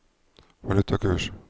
valutakurs